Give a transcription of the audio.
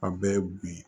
A bɛɛ ye bi ye